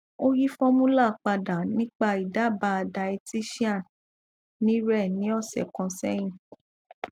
o yi formula pada nipa idaaba dietitian ni re ni ọ̀sẹ̀ kan sẹ́yin